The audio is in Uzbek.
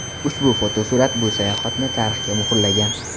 Ushbu fotosurat bu sayohatni tarixga muhrlagan.